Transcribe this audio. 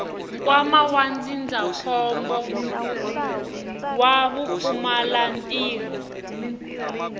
nkwama wa ndzindzakhombo wa vupfumalantirho